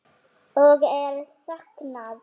Og er saknað.